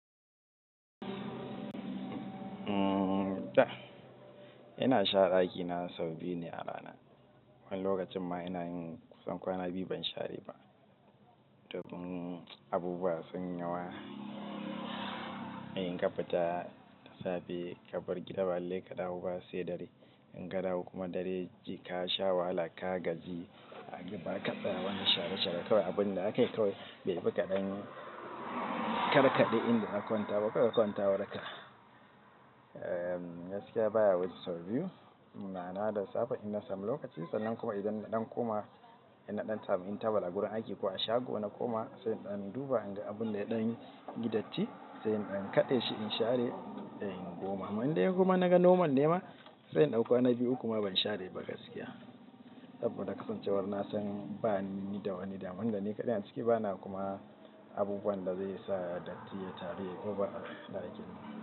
Umm ta ina shara ɗaki na sau biyu ne a rana. Wani lokacin ma ina yin kusan kwana biyu ban share ba. To in abubuwa sun yi yawa. In ka fita da safe ka bar gida ba lallai ka dawo ba sai dare. In ka dawo kuma dare ji ka sha wahala ka gaji ka ga ba zaka tsaya wani share share kawai abunda zaka yi kawai bai fi kaɗan karkaɗe in da zaka kwanta ba kawai kwantawarka. Gaskiya baya wuce sau biyu. Ma'ana da safe ina samu lokaci sannan kuma idan na ɗan koma in na ɗan samu intabal a gurin aiki ko a shago na koma sai in ɗan duba inga abun da ya ɗan yi datti sai in ɗan kaɗe shi in share sai in koma. To in dai in kuma naga nomal nema sai in ɗau kwana biyu uku ma ban share ba gaskiya. Saboda kasancewar na san bani ni da wani damun saboda ni kaɗai na ciki bana kuma abubuwan da zai sa datti ya taru yayi over a cikin ɗakin.